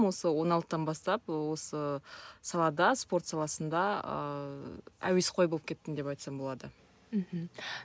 осы он алтыдан бастап осы салада спорт саласында ыыы әуесқой болып кеттім деп айтсам болады мхм